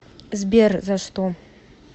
сбер за что